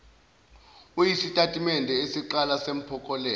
uyisitatimende esinqala sempokophelelo